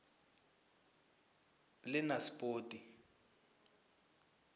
lenaspoti